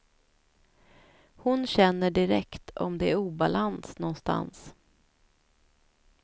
Hon känner direkt om det är obalans någonstans.